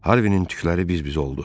Harvinin tükləri biz-biz oldu.